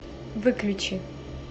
выключи